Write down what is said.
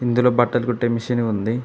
ఇందులో బట్టలు కుట్టే మిషను ఉంది.